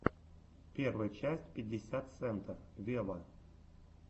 первая часть пятьдесят сента вево